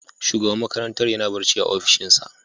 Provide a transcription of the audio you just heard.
Shugaban makarantar yana barci a opishinsa.